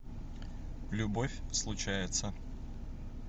любовь случается